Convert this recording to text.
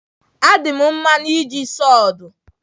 Adị m mma n'iji sawdu.